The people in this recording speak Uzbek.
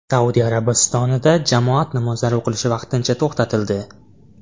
Saudiya Arabistonida jamoat namozlari o‘qilishi vaqtincha to‘xtatildi.